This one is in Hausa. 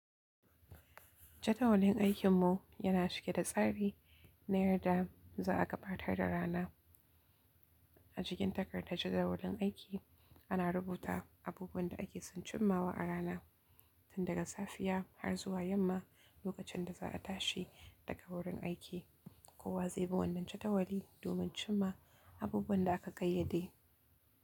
Jada walin aikin mu yana cike da tsari na yarda za a gabatar da rana. A jikin takardar jadawalin aiki ana rubuta abubuwan da ake son cimmawa a rana, tun daga safiya har zuwa yamma lokacin da za a tashi daga wurin aiki. Kowa zaibi wannan jadawali domin cimma abubuwan da aka kayyade.